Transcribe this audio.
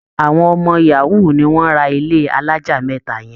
Àwọn ọmọ yahoo ni wọ́n ra ilé alájà mẹ́ta yẹn